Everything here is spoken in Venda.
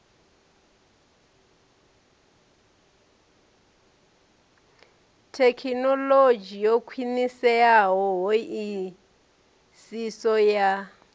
thekhinolodzhi yo khwiniseaho hoisiso ya